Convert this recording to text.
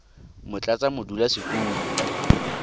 motlatsamodulasetulo